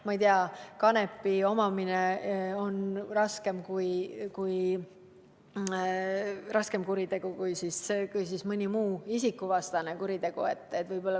Näiteks miks kanepi omamine on justkui raskem kuritegu kui mõni muu isikuvastane kuritegu?